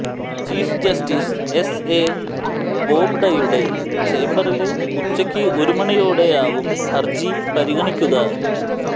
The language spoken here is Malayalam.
ചീഫ് ജസ്റ്റിസ് എസ് എ ബോബ്ഡയുടെ ചേംബറില് ഉച്ചയ്ക്ക് ഒരുമണിയോടെയാവും ഹര്ജി പരിഗണിക്കുക